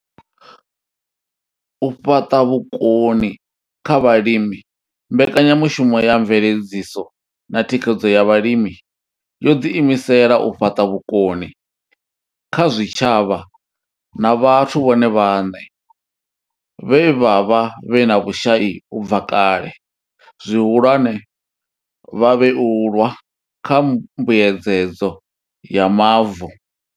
U fhaṱa vhukoni kha vhalimi mbekanyamushumo ya mveledziso na thikhedzo ya vhalimi yo ḓi imisela u fhaṱa vhukoni kha zwitshavha na vhathu vhone vhaṋe vhe vha vha vhe na vhushai u bva kale, zwihulwane, vhavhuelwa kha mbuedzedzo ya mavu.